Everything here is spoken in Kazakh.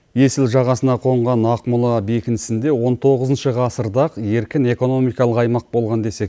есіл жағасына қонған ақмола бекінісінде он тоғызыншы ғасырда еркін экономикалық аймақ болған деседі